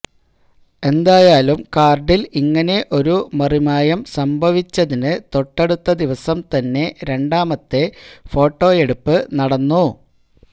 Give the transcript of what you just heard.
എന്തായാലും കാര്ഡില് ഇങ്ങനെ ഒരു മറിമായം സംഭവിച്ചതിന് തൊട്ടടുത്ത ദിവസം തന്നെ രണ്ടാമത്തെ ഫോട്ടൊയെടുപ്പ് നടന്നു